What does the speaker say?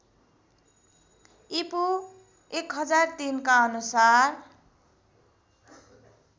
ईपू १००३ का अनुसार